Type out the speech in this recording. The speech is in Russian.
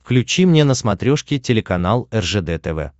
включи мне на смотрешке телеканал ржд тв